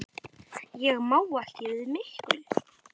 Ég má ekki við miklu.